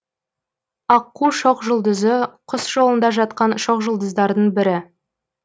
аққу шоқжұлдызы құс жолында жатқан шоқжұлдыздардың бірі